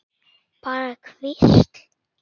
Bara hvísl.